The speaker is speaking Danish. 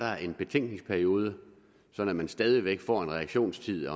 er en betænkningsperiode så man stadig væk får en reaktionstid